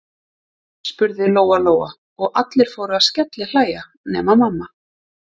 spurði Lóa Lóa, og allir fóru að skellihlæja nema mamma.